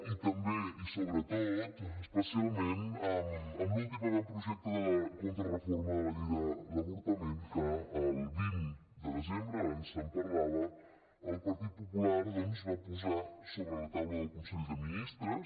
i també i sobretot especialment amb l’últim avantprojecte de contrareforma de la llei de l’avortament que el vint de desembre abans se’n parlava el partit popular doncs va posar sobre la taula del consell de ministres